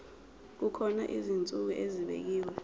kukhona izinsuku ezibekiwe